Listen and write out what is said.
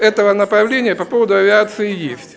этого направления по поводу авиации и есть